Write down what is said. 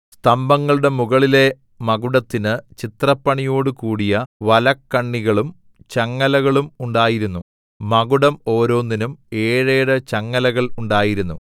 സ്തംഭങ്ങളുടെ മുകളിലെ മകുടത്തിന് ചിത്രപ്പണിയോടുകൂടിയ വലക്കണ്ണികളും ചങ്ങലകളും ഉണ്ടായിരുന്നു മകുടം ഓരോന്നിന്നും ഏഴേഴ് ചങ്ങലകൾ ഉണ്ടായിരുന്നു